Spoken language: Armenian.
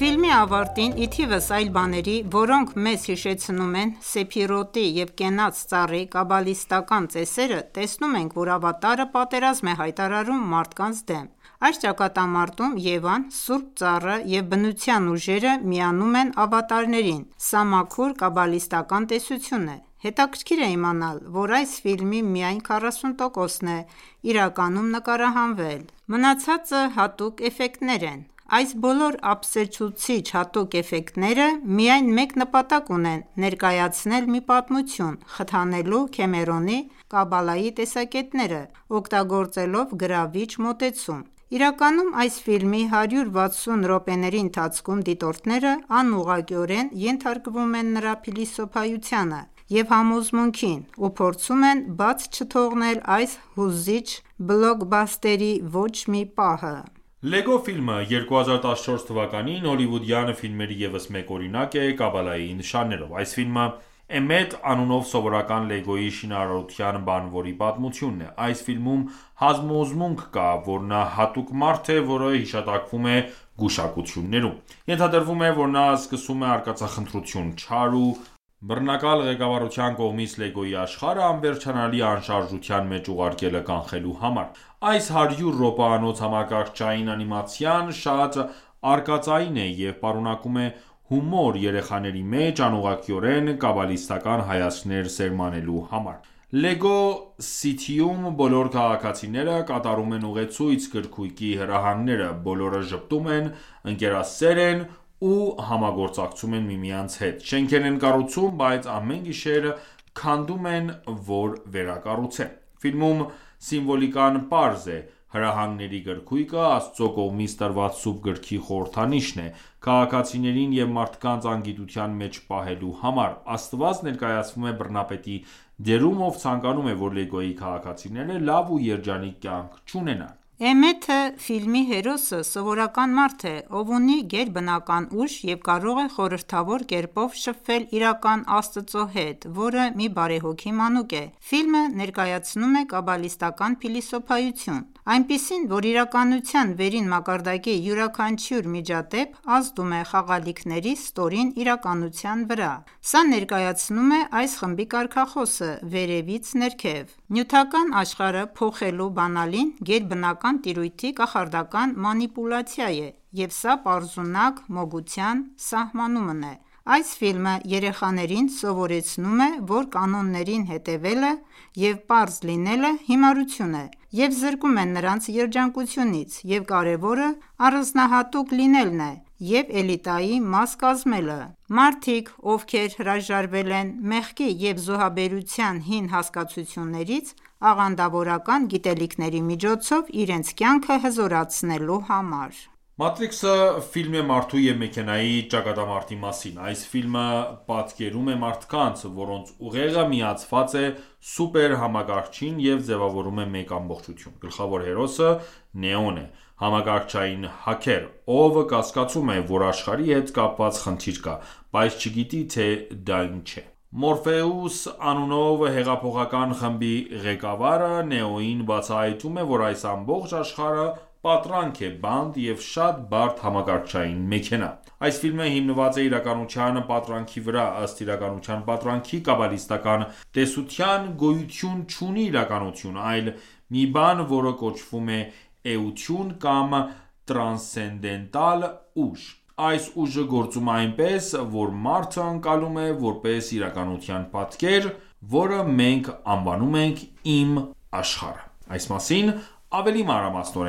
Ֆիլմի ավարտին, ի թիվս այլ բաների, որոնք մեզ հիշեցնում են Սեփիրոտի և Կենաց ծառի կաբալիստական ծեսերը, տեսնում ենք, որ Ավատարը պատերազմ է հայտարարում մարդկանց դեմ: Այս ճակատամարտում Եվան, սուրբ ծառը և բնության ուժերը միանում են ավատարներին, սա մաքուր կաբալիստական տեսություն է: Հետաքրքիր է իմանալ, որ այս ֆիլմի միայն 40%-ն է իրականում նկարահանվել։ Մնացածը հատուկ էֆեկտներ են: Այս բոլոր ապշեցուցիչ հատուկ էֆեկտները միայն մեկ նպատակ ունեն՝ ներկայացնել մի պատմություն՝ խթանելու Քեմերոնի Կաբալայի տեսակետները՝ օգտագործելով գրավիչ մոտեցում: Իրականում, այս ֆիլմի 160 րոպեների ընթացքում դիտողները անուղղակիորեն ենթարկվում են նրա փիլիսոփայությանը և համոզմունքին և փորձում են բաց չթողնել այս հուզիչ բլոկբաստերի ոչ մի պահը: «Լեգո ֆիլմը» 2014 թվականին հոլիվուդյան ֆիլմերի ևս մեկ օրինակ է Կաբալայի նշաններով։ Այս ֆիլմը Էմետ անունով սովորական Lego-ի շինարարության բանվորի պատմությունն է։ Այս ֆիլմում համոզմունք կա, որ նա հատուկ մարդ է, որը հիշատակվում է գուշակություններում։ Ենթադրվում է, որ նա սկսում է արկածախնդրություն՝ չար ու բռնակալ ղեկավարության կողմից Լեգոյի աշխարհը անվերջանալի անշարժության մեջ ուղարկելը կանխելու համար։ Այս 100 րոպեանոց համակարգչային անիմացիան շատ արկածային է և պարունակում է հումոր երեխաների մեջ անուղղակիորեն կաբալիստական հայացքներ սերմանելու համար: Լեգո Սիթիում բոլոր քաղաքացիները կատարում են ուղեցույց-գրքույկի հրահանգները, բոլորը ժպտում են, ընկերասեր են ու համագործակցում են միմյանց հետ։ Շենքեր են կառուցում, բայց ամեն գիշեր քանդում են, որ վերակառուցեն։ Ֆիլմում սիմվոլիկան պարզ է. Հրահանգների գրքույկը Աստծո կողմից տրված սուրբ գրքի խորհրդանիշն է՝ քաղաքացիներին և մարդկանց անգիտության մեջ պահելու համար: Աստված ներկայացվում է բռնապետի դերում, ով ցանկանում է, որ Լեգոյի քաղաքացիները լավ ու երջանիկ կյանք չունենան։ Էմեթը` ֆիլմի հերոսը, սովորական մարդ է, ով ունի գերբնական ուժ և կարող է խորհրդավոր կերպով շփվել իրական Աստծո հետ որը մի բարեհոգի մանուկ է: Ֆիլմը ներկայացնում է կաբալիստական փիլիսոփայություն, այնպիսին, որ իրականության վերին մակարդակի յուրաքանչյուր միջադեպ ազդում է խաղալիքների ստորին իրականության վրա: Սա ներկայացնում է այս խմբի կարգախոսը. «Վերևից ներքև»։ Նյութական աշխարհը փոխելու բանալին գերբնական տիրույթի կախարդական մանիպուլյացիա է, և սա պարզունակ մոգության սահմանումն է: Այս ֆիլմը երեխաներին սովորեցնում է, որ կանոններին հետևելը և պարզ լինելը հիմարություն է և զրկում է նրանց երջանկությունից, և կարևորը առանձնահատուկ լինելն է և էլիտայի մաս կազմելը: Մարդիկ, ովքեր հրաժարվել են մեղքի և զոհաբերության հին հասկացություններից՝ աղանդավորական գիտելիքների միջոցով իրենց կյանքը հզորացնելու համար: Մատրիքսը ֆիլմ է մարդու և մեքենայի ճակատամարտի մասին։ Այս ֆիլմը պատկերում է մարդկանց, որոնց ուղեղը միացված է սուպերհամակարգչին և ձևավորվում է մեկ ամբողջություն։ Գլխավոր հերոսը Նեոն է՝ համակարգչային հաքեր, ով կասկածում է, որ աշխարհի հետ կապված խնդիր կա, բայց չգիտի, թե դա ինչ է։ Մորֆեուս անունով հեղափոխական խմբի ղեկավարը Նեոյին բացահայտում է, որ այս ամբողջ աշխարհը պատրանք է, բանտ և շատ բարդ համակարգչային մեքենա: Այս ֆիլմը հիմնված է իրականության պատրանքի վրա, ըստ իրականության պատրանքի կաբալիստական տեսության՝ գոյություն չունի իրականություն, այլ մի բան, որը կոչվում է էություն կամ տրանսցենդենտալ ուժ։ Այս ուժը գործում է այնպես, որ մարդը ընկալում է որպես իրականության պատկեր, որը մենք անվանում ենք «իմ աշխարհը»: Այս մասին ավելի մանրամասնորեն